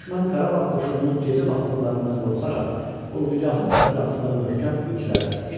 Düşmən Qarabağ qoşununun gecə basqınlarından qorxaraq, ordugahın ətrafında möhkəm bürclər tikmişdi.